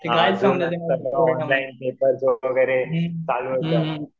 वगैरे चालू